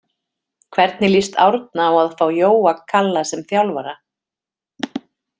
Hvernig lýst Árna á að fá Jóa Kalla sem þjálfara?